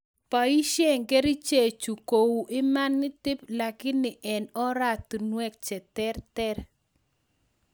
Boisie kerichek chu kou imanitib lakini en oratunwek cheterter